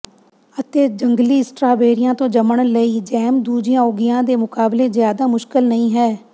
ਅਤੇ ਜੰਗਲੀ ਸਟ੍ਰਾਬੇਰੀਆਂ ਤੋਂ ਜੰਮਣ ਲਈ ਜੈਮ ਦੂਜੀਆਂ ਉਗੀਆਂ ਦੇ ਮੁਕਾਬਲੇ ਜ਼ਿਆਦਾ ਮੁਸ਼ਕਲ ਨਹੀਂ ਹੈ